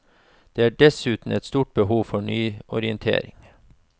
Det er dessuten et stort behov for nyorientering.